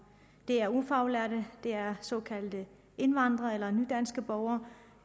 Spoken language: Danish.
det er ufaglærte det er såkaldte indvandrere eller nydanske borgere